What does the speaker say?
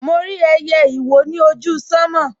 Mo rí ẹyẹ ìwó ni ojú sánmọ̀